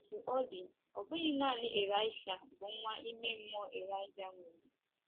Otú ọ dị, ọ bụghị nanị Ịlaịsha bụ nwa ime mmụọ Ịlaịja nwere.